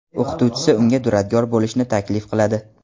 O‘qituvchisi unga duradgor bo‘lishni taklif qiladi.